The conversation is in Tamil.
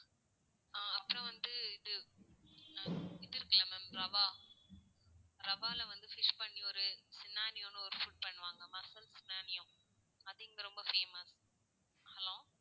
ஆஹ் அப்பறம் வந்து, இது அஹ் இது இருக்குள்ள ma'am, ரவா ரவால்ல வந்து dish பண்ணி ஒரு சினானியோனு ஒரு food பண்ணுவாங்க. மசல் சினானியோ. அது இங்க ரொம்ப famous hello